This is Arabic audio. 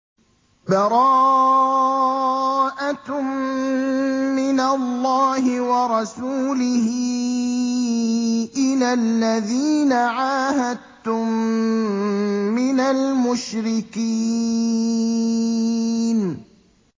بَرَاءَةٌ مِّنَ اللَّهِ وَرَسُولِهِ إِلَى الَّذِينَ عَاهَدتُّم مِّنَ الْمُشْرِكِينَ